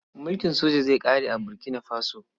Mulkin soja zai ƙare a Burkina Faso.